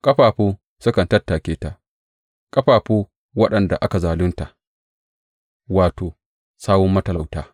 Ƙafafu sukan tattake ta, ƙafafu waɗanda aka zalunta, wato, sawun matalauta.